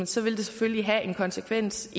selvfølgelig have en konsekvens